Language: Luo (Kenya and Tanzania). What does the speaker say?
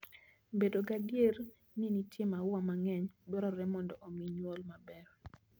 Bedo gadier ni nitie maua mang'eny dwarore mondo omi nyuol maber.